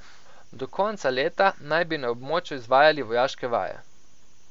Do konca leta naj bi na območju izvajali vojaške vaje.